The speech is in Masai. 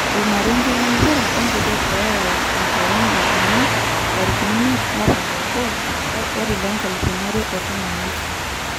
Omarenge lempira ongejek lolaya enkolong e jumaa 05.01.2018.